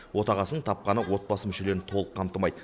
отағасының тапқаны отбасы мүшелерін толық қамтымайды